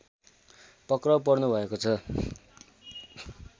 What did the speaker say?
पक्राउ पर्नुभएको छ